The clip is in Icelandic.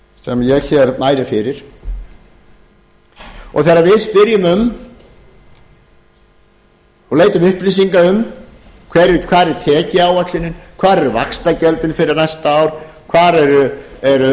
sem ég hér mæli fyrir þegar við spyrjum um og leitum upplýsinga um hvar er tekjuáætlunin hvar eru vaxtagjöldin fyrir næsta ár hvar eru